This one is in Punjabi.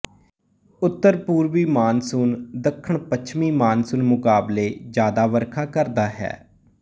ਉੱਤਰਪੂਰਬੀ ਮਾਨਸੂਨ ਦੱਖਣਪੱਛਮੀ ਮਾਨਸੂਨ ਮੁਕਾਬਲੇ ਜਿਆਦਾ ਵਰਖਾ ਕਰਦਾ ਹੈ